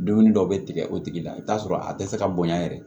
Dumuni dɔw bɛ tigɛ o tigi la i bɛ t'a sɔrɔ a dɛsɛ ka bonya yɛrɛ